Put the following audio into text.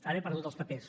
ara he perdut els papers